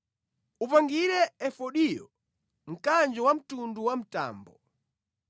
“Uyipangire efodiyo mkanjo wamtundu wa mtambo.